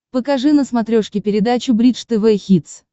покажи на смотрешке передачу бридж тв хитс